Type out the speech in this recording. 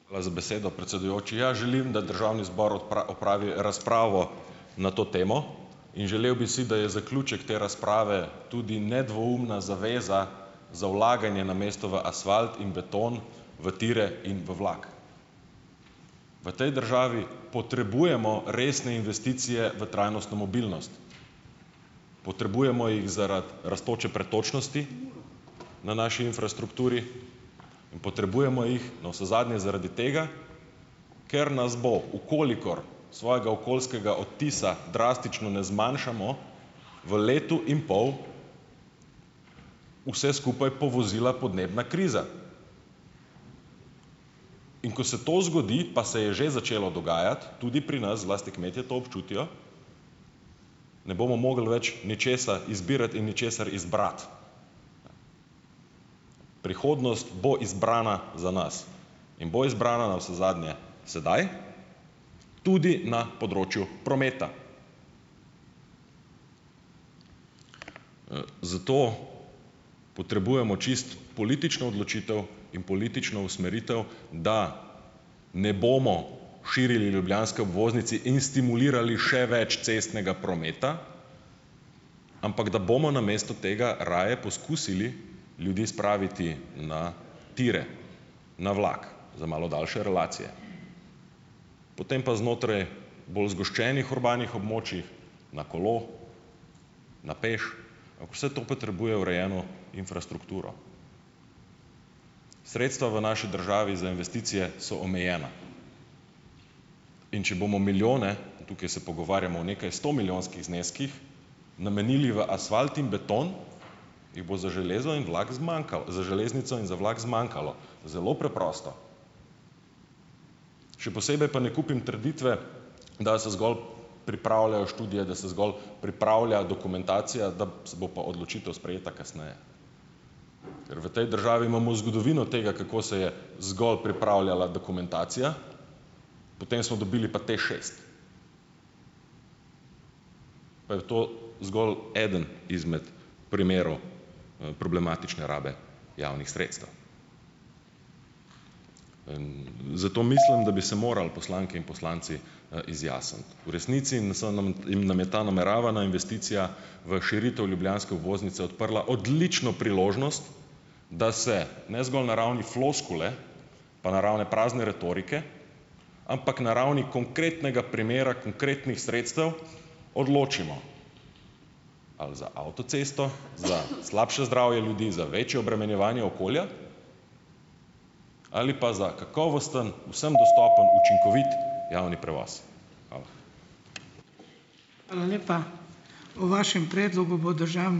Hvala za besedo, predsedujoči. Ja, želim, da državni zbor opravi razpravo na to temo, in želel bi si, da je zaključek te razprave tudi nedvoumna zaveza za vlaganje namesto v asfalt in beton v tire in v vlak. V tej državi potrebujemo resne investicije v trajnostno mobilnost. Potrebujemo jih zaradi rastoče pretočnosti na naši infrastrukturi, potrebujemo jih navsezadnje zaradi tega, ker nas bo, v kolikor svojega okoljskega odtisa drastično ne zmanjšamo, v letu in pol vse skupaj povozila podnebna kriza. In ko se to zgodi, pa se je že začelo dogajati, tudi pri nas, zlasti kmetje to občutijo, ne bomo mogli več ničesar izbirati in ničesar izbrati. Prihodnost bo izbrana za nas in bo izbrana navsezadnje sedaj, tudi na področju prometa. Zato potrebujemo čisto politično odločitev in politično usmeritev, da ne bomo širili ljubljanske obvoznice in stimulirali še več cestnega prometa, ampak da bomo namesto tega raje poskusili ljudi spraviti na tire, na vlak za malo daljše relacije. Potem pa znotraj bolj zgoščenih urbanih območij na kolo, na peš, vse to potrebuje urejeno infrastrukturo. Sredstva v naši državi za investicije so omejena, in če bomo milijone, tukaj se pogovarjamo o nekajstomilijonskih zneskih, namenili v asfalt in beton, jih bo za železo in vlak zmanjkalo, za železnico in za vlak zmanjkalo. Zelo preprosto. Še posebej pa ne kupim trditve, da se zgolj pripravljajo študije, da se zgolj pripravlja dokumentacija, da se bo pa odločitev sprejela kasneje. Ker v tej državi imamo zgodovino tega, kako se je zgolj pripravljala dokumentacija, potem smo dobili pa TEŠšest, pa je to zgolj eden izmed primerov, problematične rabi javnih sredstev. Zato mislim, da bi se morali, poslanke in poslanci, izjasniti. V resnici ta nameravana investicija v širitev ljubljanske obvoznice odprla odlično priložnost, da se ne zgolj na ravni floskule pa na ravni prazne retorike, ampak na ravni konkretnega primera, konkretnih sredstev odločimo, ali za avtocesto, za slabše zdravje ljudi, za večje obremenjevanje okolja ali pa za kakovosten, vsem dostopen, učinkovit javni prevoz. Hvala.